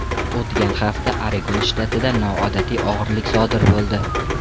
O‘tgan hafta Oregon shtatida noodatiy o‘g‘irlik sodir bo‘ldi.